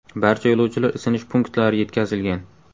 Barcha yo‘lovchilar isinish punktlari yetkazilgan.